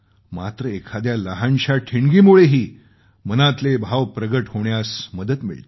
मात्र एखाद्या लहानशा ठिणगीमुळेही मनातले भाव प्रगट होण्यास मदत मिळते